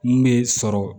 Mun bɛ sɔrɔ